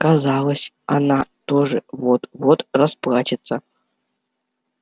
казалось она тоже вот-вот расплачется